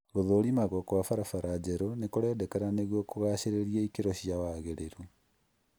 Gũthũrimagwo gwa barabara njerũ nĩ kũrendekana nĩguo kũgacirithia ikiro cia wagĩrĩru